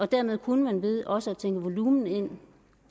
derved kunne man ved også at tænke volumen